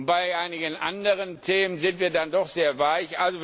Bei einigen anderen Themen sind wir dann doch sehr weich.